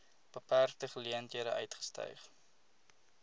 beperkte geleenthede uitgestyg